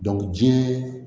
diɲɛ